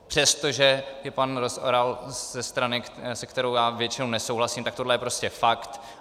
Přestože je pan Rozvoral ze strany, se kterou já většinou nesouhlasím, tak tohle je prostě fakt.